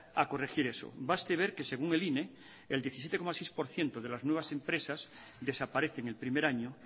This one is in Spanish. a corregir esto basta ver que según el ine el diecisiete coma seis por ciento de las nuevas empresas desaparecen el primer año